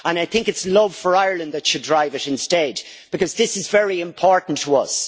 I think it is love for Ireland that should drive it instead, because this is very important to us.